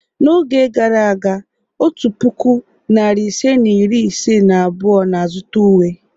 N'oge gara aga, otu puku, narị ise na iri ise na abụọ na-azụta uwe.